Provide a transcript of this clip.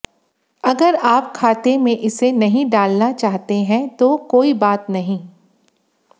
अगर आप खाने में इसे नहीं डालना चाहते हैं तो कोई बात नहीं